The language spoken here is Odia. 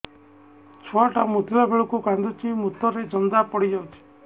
ଛୁଆ ଟା ମୁତିଲା ବେଳକୁ କାନ୍ଦୁଚି ମୁତ ରେ ଜନ୍ଦା ପଡ଼ି ଯାଉଛି